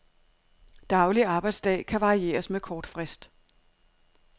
Daglig arbejdsdag kan varieres med kort frist.